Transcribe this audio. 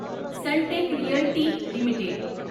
Sunteck Realty limited